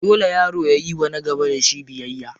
Dole yaro yayiwa na gaba da shi biyayya.